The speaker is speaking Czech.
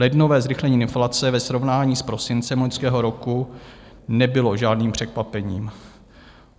Lednové zrychlení inflace ve srovnání s prosincem loňského roku nebylo žádným překvapením.